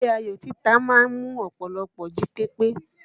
Eré ayò títa ma ń mú ọpọlọ jí pépé.